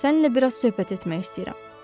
Səninlə biraz söhbət etmək istəyirəm.